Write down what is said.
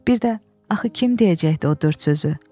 Bir də axı kim deyəcəkdi o dörd sözü?